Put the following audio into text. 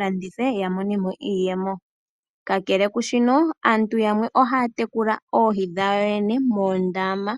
landitha oohi, opo yi ilikolele iiyemo yokwiikwathela nayo moompumbwe dhakehe esiku. Aantu yamwe ohaa tekula oohi dhawo yoye noha yedhi tekulile muundama.